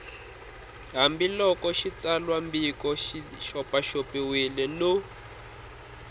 hambiloko xitsalwambiko xi xopaxopiwile no